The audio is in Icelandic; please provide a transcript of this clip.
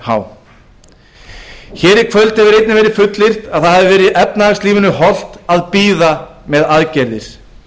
há svarið er hvergi nú er fullyrt að það hafi verið efnahagslífinu holt að bíða með aðgerðir